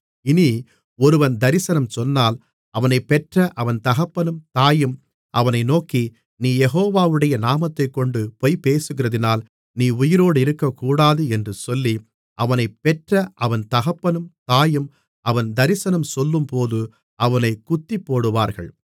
இனி ஒருவன் தரிசனம் சொன்னால் அவனைப்பெற்ற அவன் தகப்பனும் தாயும் அவனை நோக்கி நீ யெகோவாவுடைய நாமத்தைக்கொண்டு பொய்பேசுகிறதினால் நீ உயிரோடிருக்கக்கூடாது என்று சொல்லி அவனைப்பெற்ற அவன் தகப்பனும் தாயும் அவன் தரிசனம் சொல்லும்போது அவனைக் குத்திப்போடுவார்கள்